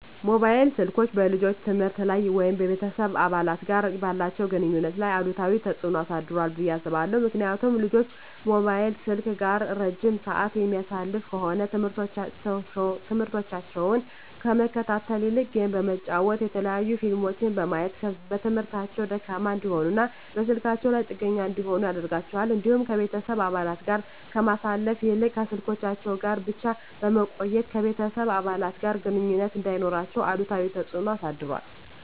መሞባይል ስልኮች በልጆች የትምህርት ላይ ወይም ከቤተሰብ አባላት ጋር ባላቸው ግንኙነት ላይ አሉታዊ ተጽዕኖ አሳድሯል ብየ አስባለሁ። ምክንያቱም ልጆች ሞባይል ስልክ ጋር እረጅም ስዓት የሚያሳልፉ ከሆነ ትምህርሞታቸውን ከመከታተል ይልቅ ጌም በመጫወት የተለያዩ ፊልሞችን በማየት በትምህርታቸው ደካማ እንዲሆኑና በስልካቸው ላይ ጥገኛ እንዲሆኑ ያደርጋቸዋል። እንዲሁም ከቤተሰብ አባለት ጋር ከማሳለፍ ይልቅ ከስልኮቻቸው ጋር ብቻ በመቆየት ከቤተሰብ አባለት ጋር ግንኙነት እንዳይኖራቸው አሉታዊ ተፅዕኖ አሳድሯል።